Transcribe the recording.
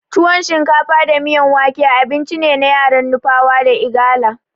Tuwon shinkafa da miyan wake abincine na yaran nupawa da igala.